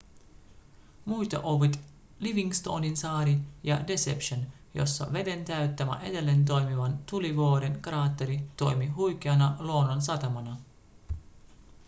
muita ovat livingstoninsaari ja deception jossa veden täyttämä edelleen toimivan tulivuoren kraatteri toimii huikeana luonnonsatamana